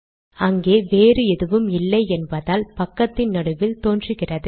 அங்கே வேறு எதுவும் இல்லை என்பதால் பக்கத்தின் நடுவில் தோன்றுகிறது